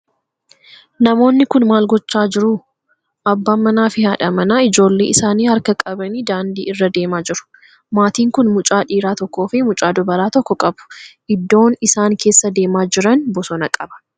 Namoonni kun maal godhaa jiruu? Abbaan manaa fi haadha manaa ijoollee isaani harka qabanii daandii irra deemaa jiru. Maatiin kun mucaa dhiiraa tokkoo fi mucoo dubaraa tokko qabu. Iddoon isaan keessa deemaa jiran bosona qaba.